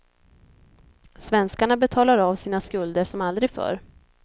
Svenskarna betalar av sina skulder som aldrig förr.